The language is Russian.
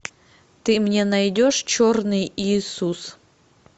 ты мне найдешь черный иисус